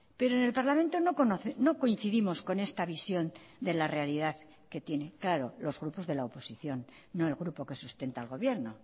pero en el parlamento no coincidimos con esta visión de la realidad que tiene claro los grupos de la oposición no el grupo que sustenta al gobierno